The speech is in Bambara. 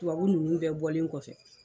Tubabu nunnu kɛ bɔlen kɔfɛ